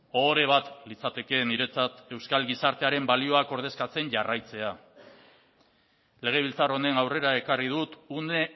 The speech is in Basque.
ohore bat litzateke niretzat euskal gizartearen balioak ordezkatzen jarraitzea legebiltzar honen aurrera ekarri dut une